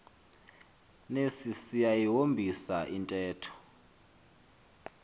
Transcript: nesi siyayihombisa intetho